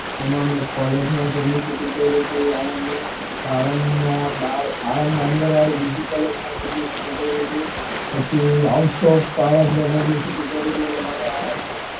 હમણે મેં college મા publicity કરી હતી આણંદ ની આણંદ ની અંદર વાડી બીજી college મા publicity કરી હતી પછી out of આણંદ મેં publicity કરી હતી